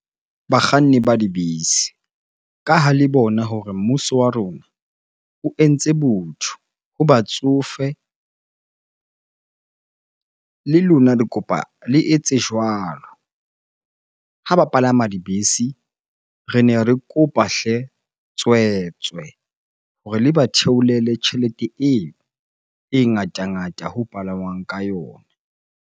Bakganni ba dibese ka ha le bona hore mmuso wa rona o entse botho ho batsofe. Le lona ke kopa le etse jwalo ha ba palama dibese. Re ne re kopa hle tswetswe hore le ba theolele tjhelete eo e ngata-ngata ho palangwang ka yona.